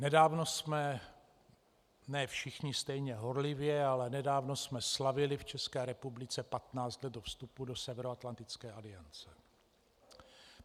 Nedávno jsme, ne všichni stejně horlivě, ale nedávno jsme slavili v České republice patnáct let od vstupu do Severoatlantické aliance.